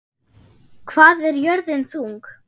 Hvað er jörðin þung?